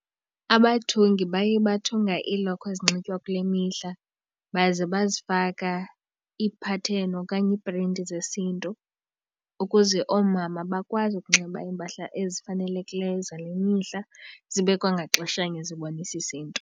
Abathungi baye bathunga iilokhwe ezinxitywa kule mihla baze bazifake iipatheni okanye iiprinti zesiNtu ukuze oomama bakwazi ukunxiba iimpahla ezifanelekileyo zale mihla zibe kwangaxeshanye zibonisa isiNtu.